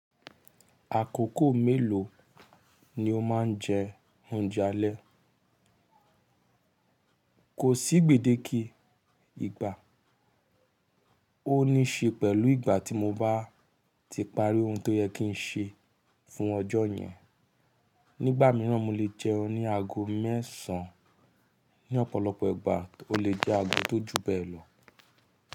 Àkókò mélòó ni o máa ń jẹ oúnjẹ alẹ́? Kò sí gbèdé kí ìgbà, ó ní ṣe pẹ̀lú ìgbà tí mo bá ti parí ohun tó yẹ kí n ṣe fún ọjọ́ yẹn. Nígbà mìíràn mo lè jẹun ní aago mẹ́sàn án, ní ọ̀pọ̀lọpọ̀ ìgbà ó lè jẹ́ aago tó ju bẹ́ẹ̀ lọ.